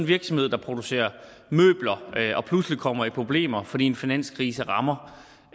virksomhed der producerer møbler pludselig kommer i problemer fordi en finanskrise rammer